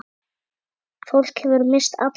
Fólk hefur misst alla trú